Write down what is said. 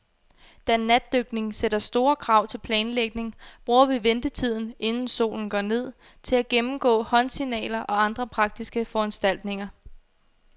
Da natdykning sætter store krav til planlægning, bruger vi ventetiden, inden solen går ned, til at gennemgå håndsignaler og andre praktiske foranstaltninger.